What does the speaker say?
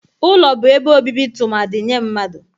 Ụlọ bụ ebe obibi tụmadị nye mmadụ.